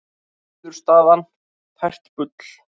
Niðurstaðan tært bull